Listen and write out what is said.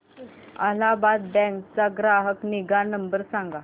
Allahabad bank चा ग्राहक निगा नंबर सांगा